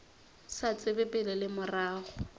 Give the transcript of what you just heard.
sa tsebe pele le morago